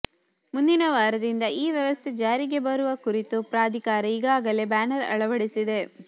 ಮುಂದಿನ ವಾರದಿಂದ ಈ ವ್ಯವಸ್ಥೆ ಜಾರಿಗೆ ಬರುವ ಕುರಿತು ಪ್ರಾಧಿಕಾರ ಈಗಾಗಲೇ ಬ್ಯಾನರ್ ಅಳವಡಿಸಿದೆ